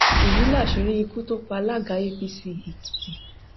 èyí làṣírí ikú tó pa alága apc ekìtì